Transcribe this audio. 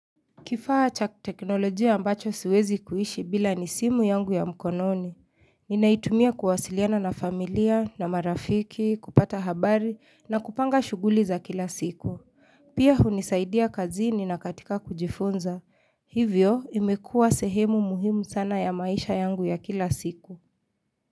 Kifaa cha teknolojia ambacho siwezi kuishi bila ni simu yangu ya mkononi. Ninaitumia kuwasiliana na familia, na marafiki, kupata habari, na kupanga shughuli za kila siku. Pia hunisaidia kazini na katika kujifunza. Hivyo imekuwa sehemu muhimu sana ya maisha yangu ya kila siku.